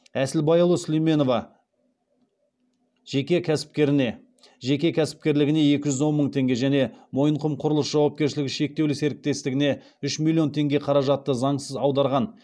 әсілбайұлы сулейменова жеке кәсіпкерлігіне екі жүз он мың тенге және мойынқұм құрылыс жауапкершілігі шектеулі серіктестігіне үш миллион теңге қаражатты заңсыз аударған